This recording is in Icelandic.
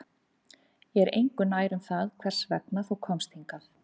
Ég er engu nær um það hvers vegna þú komst hingað